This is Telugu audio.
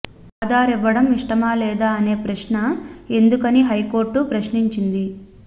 ఆధార్ ఇవ్వడం ఇష్టమా లేదా అనే ప్రశ్న ఎందుకని హైకోర్టు ప్రశ్నించింది